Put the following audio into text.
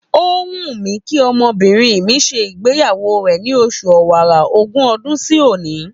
Ó wù mí kí ọmọbìnrin mi ṣe ìgbéyàwó rẹ̀ ni oṣù Ọ̀wàrà, ogún ọdún sí òní.